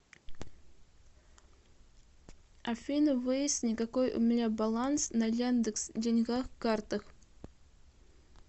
афина выясни какой у меня баланс на яндекс деньгах картах